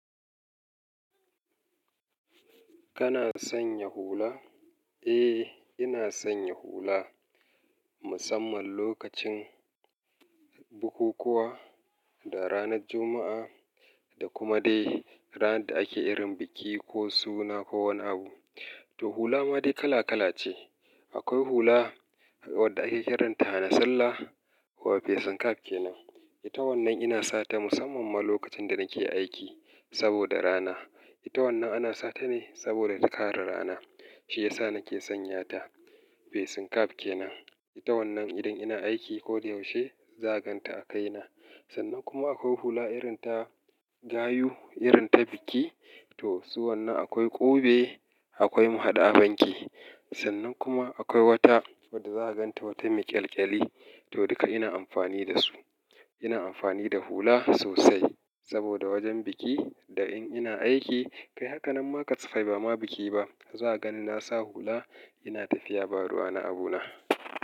Kana sanya hula? Eh, ina sanya hula musamman lokacin bukukuwa da ranar Juma'a da kuma dai ranar da ake irin biki ko suna ko wani abu. To hula ma dai kala kala ce. Akwai hula wadda ake kiranta na sallah wa fesen kaf ke nan. Ita wannan ina sata musamman ma lokacin da nake aiki saboda rana. Ita wannan ana satane saboda takare rana. Shi yasa nake sanya ta. Fesen kaf ke nan. Ita wannan idan ina aiki ko da yaushe zaganta a kaina. Sannan kuma akwai hula irin ta gayu, irin ta biki. To su wannan akwai ƙube, akwai mahaɗu banki. Sannan kuma akwai wata wadda zaganta wata me ƙyalƙyali. To duka ina amfani da su. Ina amfani da hula sosai saboda wajen biki da in ina aiki. Kai haka nan ma kasa fai ba ma biki ba, za a gani nasa hula ina tafiya baruwa na abu na.